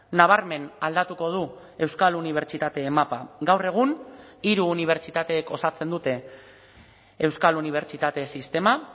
nabarmen aldatuko du euskal unibertsitate mapa gaur egun hiru unibertsitateek osatzen dute euskal unibertsitate sistema